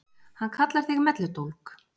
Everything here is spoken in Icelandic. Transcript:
Hann kallar þig melludólg.